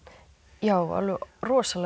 já alveg rosalega